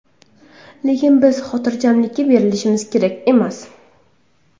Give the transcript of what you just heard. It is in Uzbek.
Lekin biz xotirjamlikka berilishimiz kerak emas.